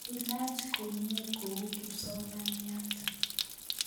ilaach komnyee kou kipsomaniat